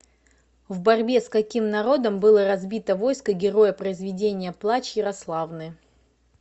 в борьбе с каким народом было разбито войско героя произведения плач ярославны